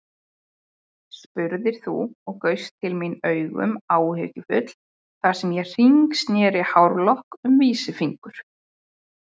spurðir þú og gaust til mín augum áhyggjufull þar sem ég hringsneri hárlokk um vísifingur.